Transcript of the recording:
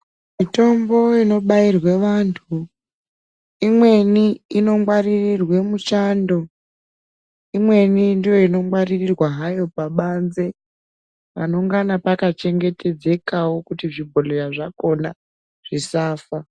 Mitombo inobairwa vantu, imweni inongwaririrwa muchando. Imweni ndiyo inongwaririrwa hayo pabanze panengana pakachengetedzekawo kuti zvibhondleya zvakona zvisafa.